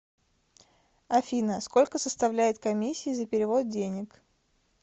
афина сколько составляет комиссии за перевод денег